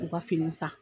U ka fini san